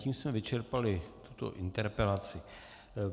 Tím jsme vyčerpali tuto interpelaci.